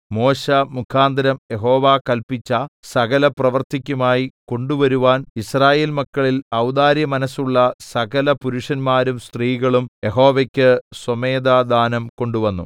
മോശെമുഖാന്തരം യഹോവ കല്പിച്ച സകലപ്രവൃത്തിക്കുമായി കൊണ്ടുവരുവാൻ യിസ്രായേൽ മക്കളിൽ ഔദാര്യമനസ്സുള്ള സകലപുരുഷന്മാരും സ്ത്രീകളും യഹോവയ്ക്ക് സ്വമേധാദാനം കൊണ്ടുവന്നു